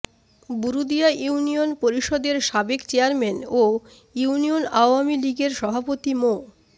Burudia union পরিষদের সাবেক chairman ও ইউনিয়ন আওয়ামী লীগের সভাপতি মো